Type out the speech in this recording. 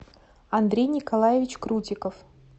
андрей николаевич крутиков